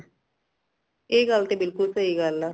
ਏ ਗੱਲ ਤੇ ਬਿਲਕੁਲ ਸਹੀ ਗੱਲ ਆ